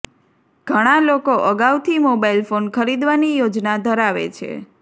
ઘણા લોકો અગાઉથી મોબાઇલ ફોન ખરીદવાની યોજના ધરાવે છે